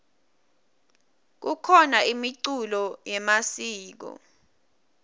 kukhona imiculo yemasiko